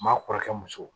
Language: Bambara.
Maa kɔrɔkɛ muso